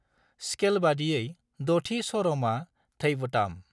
स्केलबादियै द'थि स्वरमआ धैवताम्।